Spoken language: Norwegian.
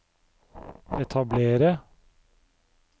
etablere